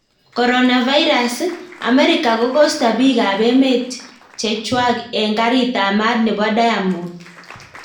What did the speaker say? Coronavirus, Amerika kokosta pik ap emt cheng chwang eng garit ap mat nepo diamond